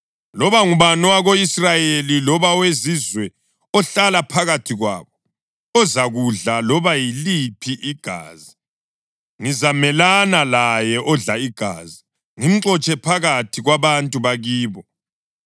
Loba ngubani owako-Israyeli loba owezizwe ohlala phakathi kwabo ozakudla loba yiliphi igazi, ngizamelana laye odla igazi, ngimxotshe phakathi kwabantu bakibo.